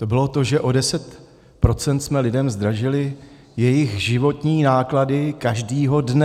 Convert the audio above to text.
To bylo, že o 10 % jsme lidem zdražili jejich životní náklady každého dne.